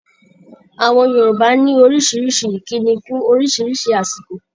Àwọn Yorùbá ní oríṣiríṣi ìkíni fún oríṣiríṣi àsìkò.